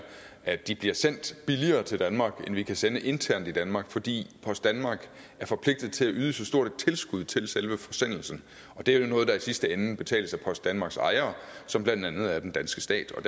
at de bliver sendt billigere til danmark end vi kan sende internt i danmark fordi post danmark er forpligtet til at yde så stort et tilskud til selve forsendelsen og det er noget der i sidste ende betales af post danmarks ejere som blandt andet er den danske stat og